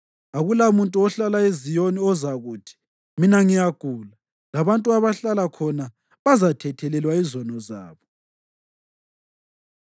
Akulamuntu ohlala eZiyoni ozakuthi, “Mina ngiyagula”; labantu abahlala khona bazathethelelwa izono zabo.